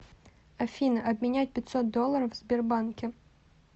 афина обменять пятьсот долларов в сбербанке